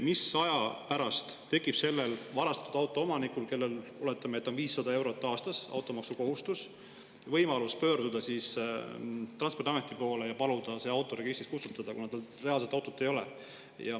Mis aja pärast tekib sellel varastatud auto omanikul, kellel, oletame, on automaksukohustus 500 eurot aastas, võimalus pöörduda Transpordiameti poole ja paluda see auto registrist kustutada, kuna tal reaalselt seda autot ei ole?